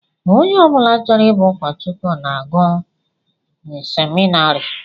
Ónyé ọbula chọrọ ịbụ ukochukwu na-agu n'seminarii.